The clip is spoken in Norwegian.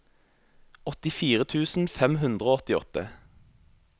åttifire tusen fem hundre og åttiåtte